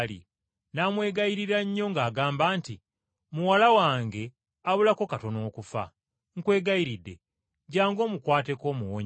n’amwegayirira nnyo ng’agamba nti, “Muwala wange abulako katono okufa. Nkwegayiridde jjangu omukwateko omuwonye.”